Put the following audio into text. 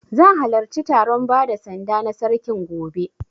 Zan halarci taron bada sanda na Sarkin gobe.